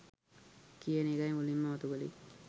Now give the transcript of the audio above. කියන එකයි මුලින්ම මතුකලේ